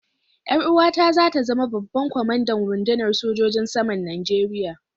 Yar uwata za ta zama babban kwamandan rundunar sojojin saman Najeriya.